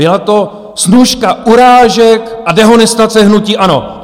Byla to snůška urážek a dehonestace hnutí ANO.